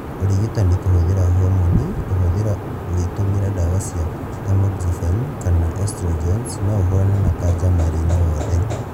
ũrigitani kũhũthĩra homoni kuhuthira ugitumira ndawa cia tamoxifen kana estrogens noũhũrane na kanja mwĩrĩ-inĩ wothe